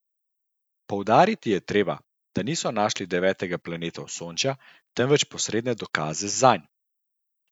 Poudariti je treba, da niso našli devetega planeta Osončja, temveč posredne dokaze zanj.